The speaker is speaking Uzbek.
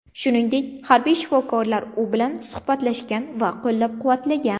Shuningdek, harbiy shifokorlar u bilan suhbatlashgan va qo‘llab-quvvatlagan.